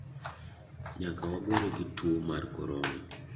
Nyaka wagore gi tuo mar Korona.